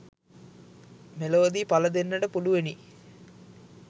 මෙලොවදී පල දෙන්නට පුළුවනි